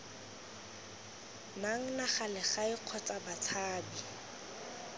nang naga legae kgotsa batshabi